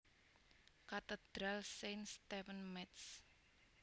Katedral Saint Stephen Métz